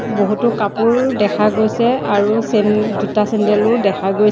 বহুতো কাপোৰ দেখা গৈছে আৰু চেন জোতা চেন্দেলো দেখা গৈছে।